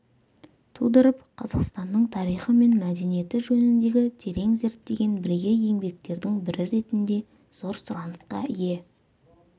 тудырып қазақстанның тарихы мен мәдениеті жөніндегі терең зерттеген бірегей еңбектердің бірі ретінде зор сұранысқа ие